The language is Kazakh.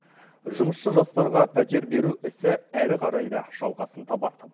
жұмысшы жастарға пәтер беру ісі әрі қарай да жалғасын табады